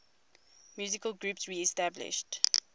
musical groups reestablished